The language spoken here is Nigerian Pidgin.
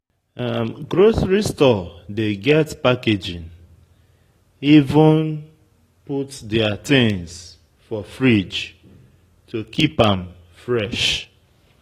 Grocery store dey get packaging, even put their things for fridge to keep am fresh